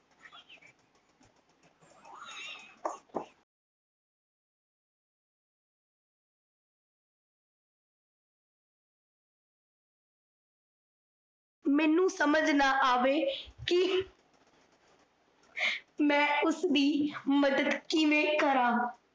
ਮੈਨੂੰ ਸਮਜ ਨਾਂ ਆਵੈ ਕੀ ਮੈ ਉਸਦੀ ਮੱਦਦ ਕਿਵੇ ਕਰਾਂ।